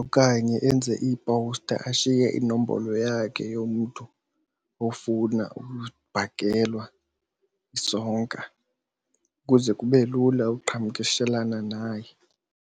okanye enze iipowusta ashiye inombolo yakhe yomntu ofuna ukubhakelwa isonka ukuze kube lula uqhagamshelana naye.